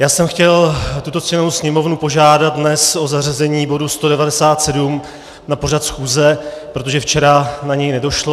Já jsem chtěl tuto ctěnou Sněmovnu požádat dnes o zařazení bodu 197 na pořad schůze, protože včera na něj nedošlo.